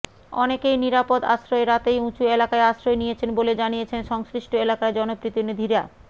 অনেকেই নিরাপদ আশ্রয়ে রাতেই উঁচু এলাকায় আশ্রয় নিয়েছেন বলে জানিয়েছেন সংশ্লিষ্ট এলাকার জনপ্রতিনিধিরা